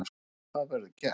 Það verður gert.